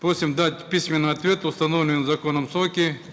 просим дать письменный ответ в установленные законом сроки